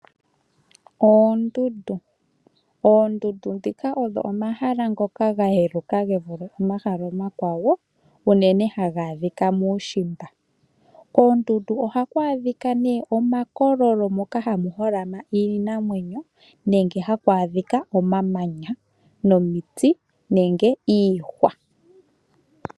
Oondundu odho omahala ngoka ga yeluka ge vule omahala omakwawo unene haga adhika muushimba. Moondundu ohamu adhika omakololo moka hamu holama iinamwenyo nenge hamu adhika omamanya, omiti nenge iihwa.